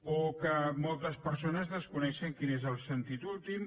o que moltes persones desconeixen quin n’és el sentit últim